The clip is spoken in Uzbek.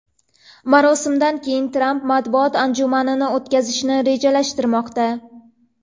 Marosimdan keyin Tramp matbuot anjumani o‘tkazishni rejalashtirmoqda.